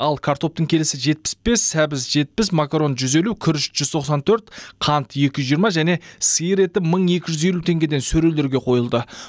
ал картоптың келісі жетпіс бес сәбіз жетпіс макарон жүз елу күріш жүз тоқсан төрт қант екі жүз жиырма және сиыр еті мың екі жүз елу теңгеден сөрелерге қойылды